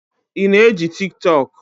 Ị na eji Tiktọk?